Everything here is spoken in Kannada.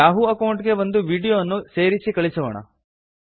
ಯಾಹೂ ಅಕೌಂಟ್ ಗೆ ಒಂದು ವೀಡಿಯೋ ಅನ್ನು ಸೇರಿಸಿ ಕಳುಹಿಸೋಣ